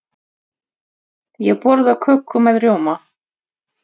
Ég borða köku með rjóma.